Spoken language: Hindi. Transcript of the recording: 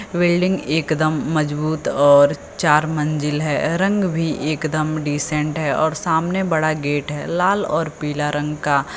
बिल्डिंग एकदम मजबूत और चार मंजिल है रंग भी एकदम डिसेंट है और सामने बड़ा गेट है लाल और पीला रंग का।